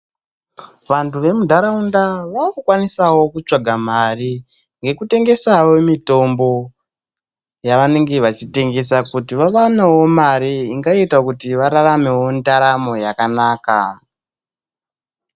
Vanhtu vemuntaraunda vaakukwanisawo kutsvaga mari ngekutengesawo mitombo yavanenge vachitengesa kuti vawanewo mare ingaita kuti vararamewo ndaramo yakanaka.